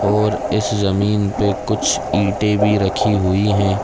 और इस जमीन पे कुछ ईटे भी रखी हुई हैं ।